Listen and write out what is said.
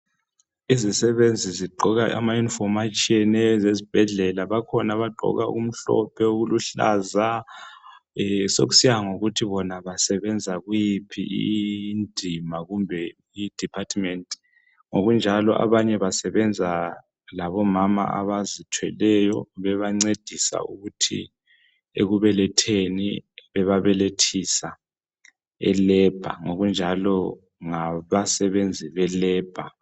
izisebenzi zigqoka ama uniform atshiyeneyo ezibhedlela kukhona abagqoka okumhlophe, okuluhlaza sokusiya ngokuthi basebenza kuyiphi indima kumbe i department ngokunjalo abanye basebenza ngabomama abazithweleyo bebancedisa ukuthi ekubeletheni bebabelethisa elebha ngokunjalo ngaba sebenzi be lebha.